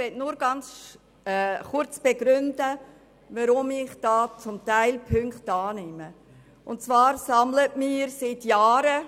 Seit Jahren sammeln Eltern Unterschriften für Velowege für die Kinder.